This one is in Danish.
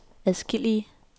adskillige